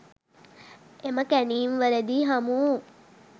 එම කැණීම් වලදි හමුවු